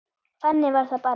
Þannig var það bara.